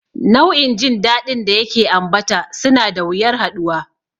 Nau'in jin daɗin da yake ambata suna da wuyar haɗuwa.